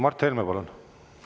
Mart Helme, palun!